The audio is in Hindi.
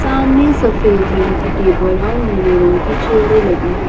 सामने सफेद रंग की टेबल और नीले रंग की चेयरे लगी है।